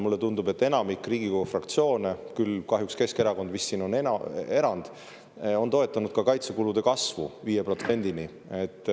Mulle tundub, et enamik Riigikogu fraktsioone – küll kahjuks Keskerakond vist on siin erand – toetab kaitsekulude kasvu 5%-ni.